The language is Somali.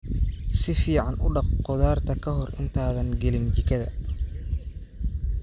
Si fiican u dhaq khudaarta ka hor intaadan gelin jikada.